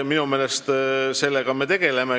Sellega me tegeleme.